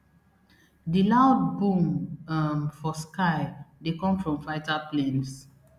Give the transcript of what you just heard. di loud boom um for sky dey come from fighter planes